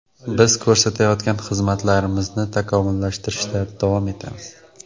Biz ko‘rsatayotgan xizmatlarimizni takomillashtirishda davom etamiz.